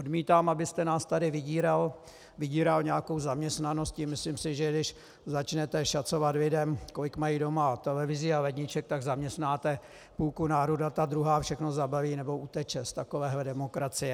Odmítám, abyste nás tady vydíral nějakou zaměstnaností, myslím si, že když začnete šacovat lidem, kolik mají doma televizí a ledniček, tak zaměstnáte půlku národa, ta druhá všechno zabalí nebo uteče z takovéhle demokracie.